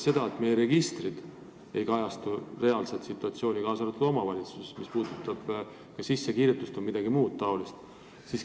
Ja meie registrid ei kajasta sugugi alati reaalsust, k.a omavalitsustes tegelikku elamist jms.